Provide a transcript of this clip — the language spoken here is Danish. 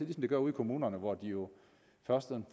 det gør ude i kommunerne hvor de først